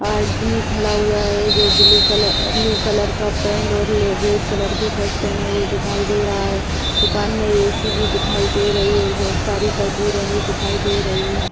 आदमी खड़ा हुआ है जो ब्लू कलर ब्लू कलर का पैंट और ले रेड कलर की शर्ट पहने हुए दिखाई दे रहा है दुकान में ए.सी. भी दिखाई दे रही है और बहुत सारे तस्वीरें भी दिखाई दे रही है।